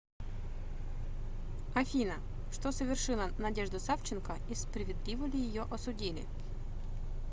афина что совершила надежда савченко и справедливо ли ее осудили